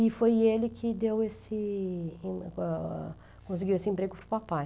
E foi ele que deu esse, o, ah, conseguiu esse emprego para o papai.